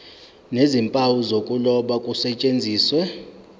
nezimpawu zokuloba kusetshenziswe